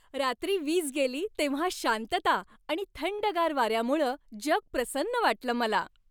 रात्री वीज गेली तेव्हा शांतता आणि थंडगार वाऱ्यामुळं जग प्रसन्न वाटलं मला.